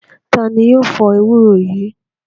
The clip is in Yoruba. Ta ni yóò fọ ewúro yìí?